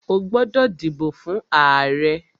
O gbódò dìbò fún ààrẹ!